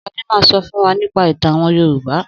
Sadá ma sọ fún wa nípa ìtàn àwọn Yorùbá.